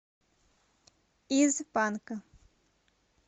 из банка